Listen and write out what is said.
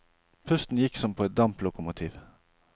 Pusten gikk som på et damplokomotiv.